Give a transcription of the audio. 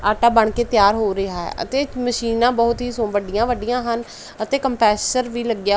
ਆਟਾ ਬਣਕੇ ਤਿਆਰ ਹੋ ਰਿਹਾ ਹੈ ਅਤੇ ਮਸ਼ੀਨਾਂ ਬਹੁਤ ਹੀ ਸੁ ਵੱਡੀਆਂ ਵੱਡੀਆਂ ਹਨ ਅਤੇ ਕੰਪਰੇਸ਼ਰ ਵੀ ਲੱਗਿਆ।